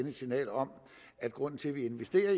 et signal om at grunden til at vi